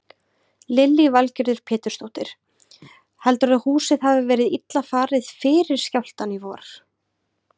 Lillý Valgerður Pétursdóttir: Heldurðu að húsið hafi verið illa farið fyrir skjálftann í vor?